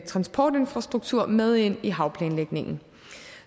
transportinfrastruktur med ind i havplanlægningen